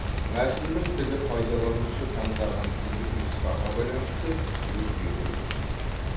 мәтіннің тілі пайдаланушы таңдаған тілдік нұсқаға байланысты өзгеруі тиіс